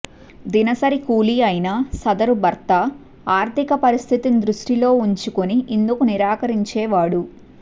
దినసరి కూలీ అయిన సదరు భర్త ఆర్థిక పరిస్థితిని దృష్టిలో ఉంచుకుని ఇందుకు నిరాకరించేవాడు